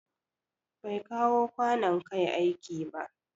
Bai kawo kwanon Kai aiki ba.